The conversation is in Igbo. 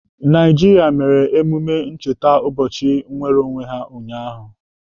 Naijiria mere emume ncheta ụbọchị nnwereonwe ha ụnyaahụ.